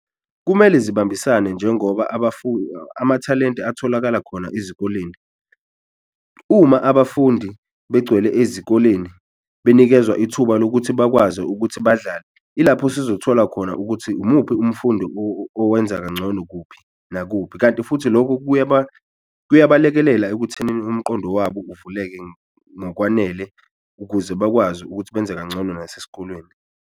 Kumele zibambisane njengoba amathalente atholakala khona ezikoleni. Uma abafundi begcwele ezikoleni benikezwa ithuba lokuthi bakwazi ukuthi badlale, ilapho sizothola khona ukuthi umuphi umfundi owenza kancono kuphi, nakuphi. Kanti futhi lokho kuyabalekelela ekuthenini umqondo wabo uvuleke ngokwanele ukuze bakwazi ukuthi benze kancono nasesikolweni.